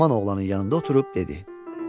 Haman oğlanın yanında oturub dedi: